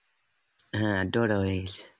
হ্যাঁ draw draw হয়ে গেছে